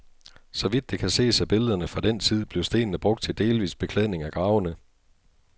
Så vidt det kan ses af billederne fra den tid, blev stenene brugt til delvis beklædning af gravene.